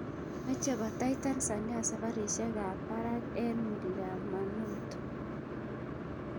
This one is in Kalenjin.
Mt Kilimanjaro: Meche kotai Tanzania safarisiek ab parak eng milamanoto.